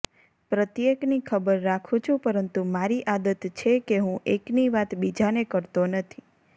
પ્રત્યેકની ખબર રાખું છું પરંતુ મારી આદત છે કે હું એકની વાત બીજાને કરતો નથી